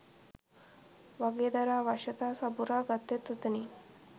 වගේ දර අවශ්‍යතා සපුරා ගත්තෙත් ඔතනින්